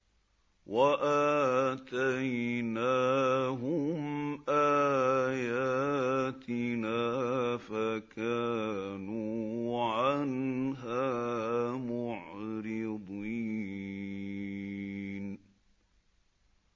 وَآتَيْنَاهُمْ آيَاتِنَا فَكَانُوا عَنْهَا مُعْرِضِينَ